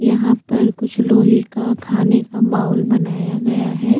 यहाँ पर कुछ लोहे का खाने का बाउल बनाया गया है।